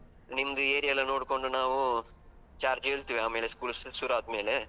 ನಿಮ್ದು area ಎಲ್ಲ ನೋಡ್ಕೊಂಡು ನಾವು, charge ಹೇಳ್ತೇವೆ ಆಮೇಲೆ school ಶುರು ಆದ್ಮೇಲೆ.